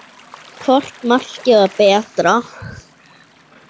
Hvort markið var betra?